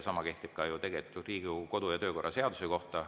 Sama kehtib ka ju Riigikogu kodu‑ ja töökorra seaduse kohta.